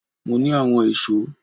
Mo ní àwọn èso